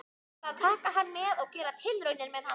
Ég ætla að taka hann með og gera tilraunir með hann.